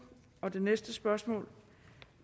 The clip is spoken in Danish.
det næste spørgsmål